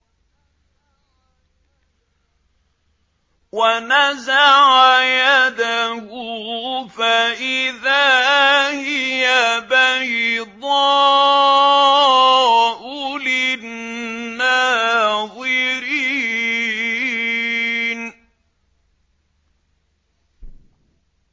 وَنَزَعَ يَدَهُ فَإِذَا هِيَ بَيْضَاءُ لِلنَّاظِرِينَ